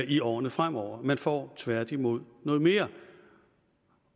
i årene fremover man får tværtimod noget mere